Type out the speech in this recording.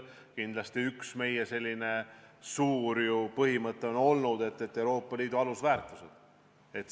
Kindlasti on üks meie suuri põhimõtteid olnud Euroopa Liidu alusväärtused.